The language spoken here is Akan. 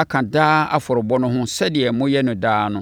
aka daa afɔrebɔ no ho sɛdeɛ moyɛ no daa no.